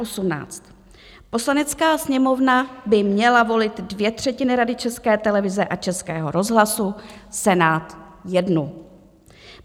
Poslanecká sněmovna by měla volit dvě třetiny Rady České televize a Českého rozhlasu, Senát jednu.